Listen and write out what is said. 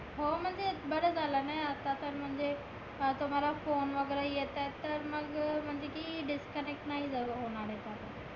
हो म्हणजे बरं झालंना यात आता म्हणजे अं तुम्हाला phone वगैरे येताहेत तर. मग म्हणजे की disconnect नाही झालं होणारे call